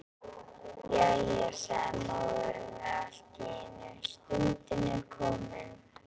Jæja, sagði móðir hennar allt í einu,-stundin er komin.